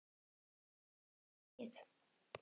Skoraðir þú mikið?